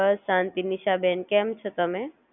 બસ શાંતિ નિશાબેન કેમ છો તમે?